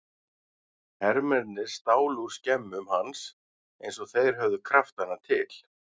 Hermennirnir stálu úr skemmum hans eins og þeir höfðu kraftana til.